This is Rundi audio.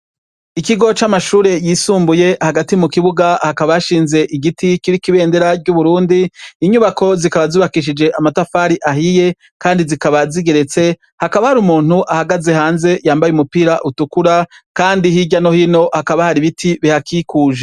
Ikigo c'amashure yisumbuye hagati mu kibuga hakabashinze igiti kibikibendera ry'uburundi inyubako zikaba zubakishije amatafari ahiye, kandi zikaba zigeretse hakaba hari umuntu ahagaze hanze yambaye umupira utukura, kandi hirya nohino hakaba hari ibiti bihakikuje.